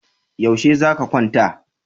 Yaushe za ka kwanta?